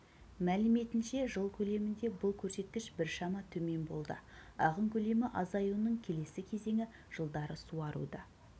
мәліметінше жыл көлемінде бұл көрсеткіш біршама төмен болды ағын көлемі азаюының келесі кезеңі жылдары суаруды